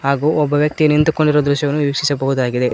ಹಾಗೂ ಒಬ್ಬ ವ್ಯಕ್ತಿ ನಿಂತುಕೊಂಡಿರುವ ದೃಶ್ಯವನ್ನು ವೀಕ್ಷಿಸಬಹುದಾಗಿದೆ.